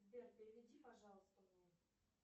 сбер переведи пожалуйста мне